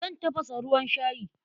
Zan tafasa ruwan shayi.